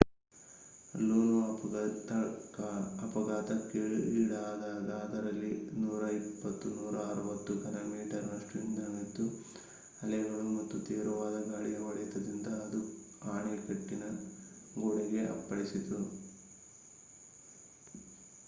ಲೂನೋ ಅಫಘಾತಕ್ಕೀಡಾದಾಗ ಅದರಲ್ಲಿ 120-160 ಘನ ಮೀಟರ್ನಷ್ಟು ಇಂಧನವಿದ್ದು ಅಲೆಗಳು ಮತ್ತು ತೀವ್ರವಾದ ಗಾಳಿಯ ಹೊಡೆತದಿಂದ ಅದು ಅಣೆಕಟ್ಟಿನ ಗೋಡೆಗೆ ಹೋಗಿ ಅಪ್ಪಳಿಸಿತು